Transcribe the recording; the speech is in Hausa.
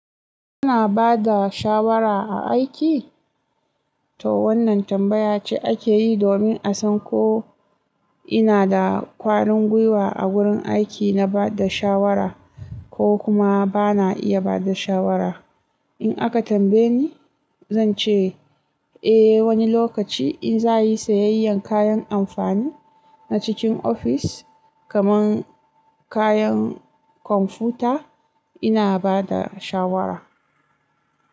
Kuna ba da shawara a aiki? To wannan tambaya ce ake yi domin a san ko ina da kwarin gwuiwa a wurin aiki na ba da shawara ko kuma ba na iya ba da shawara. In aka tambaye ni, zan ce eh wani lokaci in za'a yi sayayyan kayan amfani na cikin ofis kamar kayan kwamfuta ina ba da shawara.